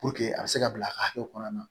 a bɛ se ka bila a ka hakɛ kɔnɔna na